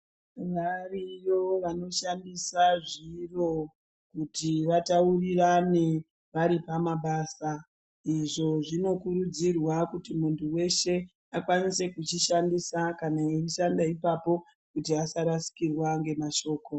Variyo vanoshandisa zviro kuti vataurirane vari pamabasa. Izvo zvinokurudzirwa kuti muntu weshe akwanise kuchishandisa kana eishanda ipapo kuti asarasikirwa ngemashoko.